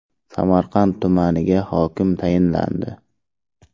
Samarqand tumaniga hokim tayinlandi.